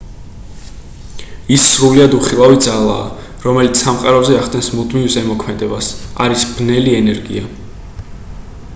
ის სრულიად უხილავი ძალაა რომელიც სამყაროზე ახდენს მუდმივ ზემოქმედებას არის ბნელი ენერგია